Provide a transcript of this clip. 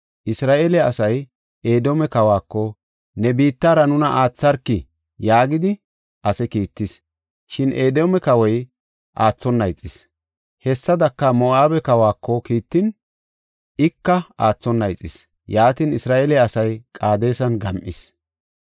Isra7eele asay Edoome kawako, ‘Ne biittara nuna aatharkii?’ yaagidi ase kiittis; shin Edoome kawoy aathona ixis. Hessadaka, Moo7abe kawako kiittin, ika aathona ixis; yaatin, Isra7eele asay Qaadesan gam7is.